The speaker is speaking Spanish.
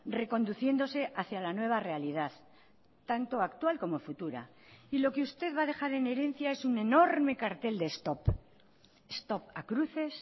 reconduciéndose hacia la nueva realidad tanto actual como futura y lo que usted va a dejar en herencia es un enorme cartel de stop stop a cruces